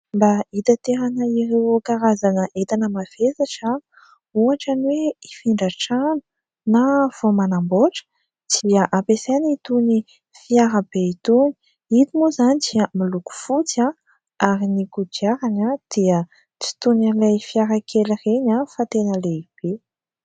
Mba hitaterana ireo karazana entana mavesatra, ohatra ny hoe hifindra trano, na vao manamboatra dia ampiasaina itony fiara be itony. Eto moa izany dia miloko fotsy ary ny kodiarany dia tsy toy ny ilay fiara kely ireny fa tena lehibe.